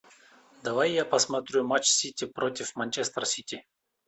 давай я посмотрю матч сити против манчестер сити